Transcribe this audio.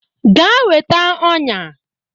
Gaa weta ọnyà